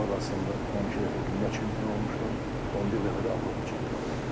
Veteranlar arasında 12 dəfə dünya çempionu olmuşam, 11 dəfə də Avropa çempionu.